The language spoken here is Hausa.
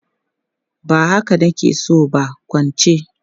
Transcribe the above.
Ba haka na ke so ba, kwance!